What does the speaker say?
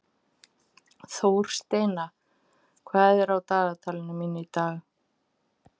Þórsteina, hvað er á dagatalinu mínu í dag?